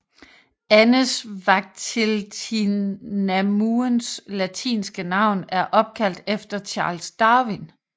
Andesvagteltinamuens latinske navn er opkaldt efter Charles Darwin